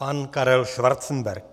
Pan Karel Schwarzenberg.